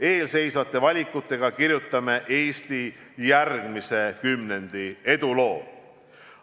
Eesseisvate valikutega kirjutame Eesti järgmise kümnendi eduloo.